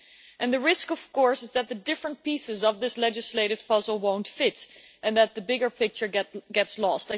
And the risk of course, is that the different pieces of this legislative puzzle won't fit, and that the bigger picture gets lost.